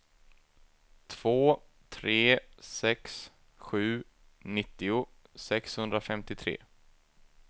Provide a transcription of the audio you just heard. två tre sex sju nittio sexhundrafemtiotre